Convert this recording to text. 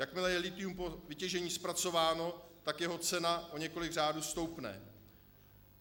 Jakmile je lithium po vytěžení zpracováno, tak jeho cena o několik řádů stoupne.